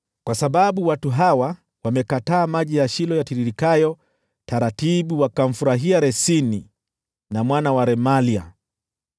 “Kwa sababu watu hawa wamekataa maji ya Shilo yatiririkayo taratibu wakamfurahia Resini na mwana wa Remalia,